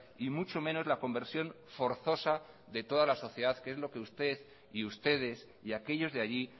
y mucho menos la conversión forzosa de toda la sociedad que es lo que usted y ustedes y aquellos de allí